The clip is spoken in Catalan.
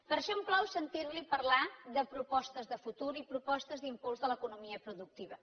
per això em plau sentir li parlar de propostes de futur i propostes d’impuls de l’economia productiva